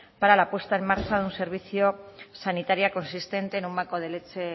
para la puesta en marcha de un servicio sanitario consistente en un banco de leche